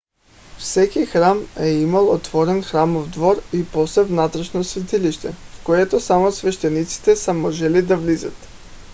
всеки храм е имал отворен храмов двор и после вътрешно светилище в което само свещениците са можели да влизат